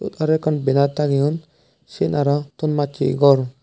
aro ekkan benar tangeyon siyen aro ton massey gor.